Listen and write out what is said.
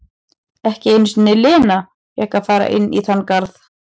Ekki einu sinni Lena fékk að fara inn í þann garð.